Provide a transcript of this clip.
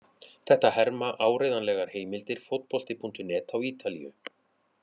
Þetta herma áreiðanlegar heimildir Fótbolti.net á Ítalíu.